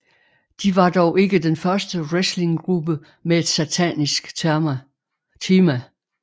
De var dog ikke den første wrestling gruppe med et satanisk tema